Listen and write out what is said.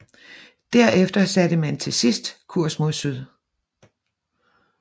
Derefter satte man til sidst kurs mod syd